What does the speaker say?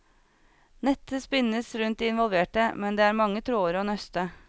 Nettet spinnes rundt de involverte, men det er mange tråder å nøste.